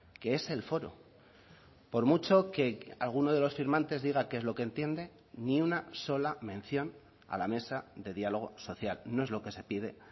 que es el foro por mucho que alguno de los firmantes diga qué es lo que entiende ni una sola mención a la mesa de diálogo social no es lo que se pide